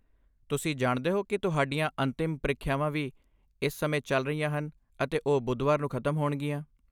ਤੁਸੀਂ ਜਾਣਦੇ ਹੋ ਕਿ ਤੁਹਾਡੀਆਂ ਅੰਤਿਮ ਪ੍ਰੀਖਿਆਵਾਂ ਵੀ ਇਸ ਸਮੇਂ ਚੱਲ ਰਹੀਆਂ ਹਨ ਅਤੇ ਉਹ ਬੁੱਧਵਾਰ ਨੂੰ ਖਤਮ ਹੋਣਗੀਆਂ।